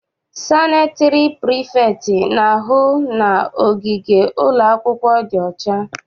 Sanịtịrị prifektị na-ahụ na ogige ụlọakwụkwọ dị ọcha.